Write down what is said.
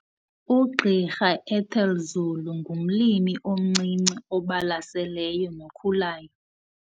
UGqr Ethel Zulu ngumlimi omncinci obalaseleyo nokhulayo.